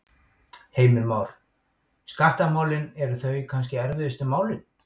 Heimir Már: Skattamálin, eru þau kannski erfiðustu málin?